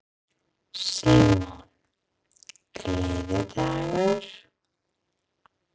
Símon: Gleðidagur?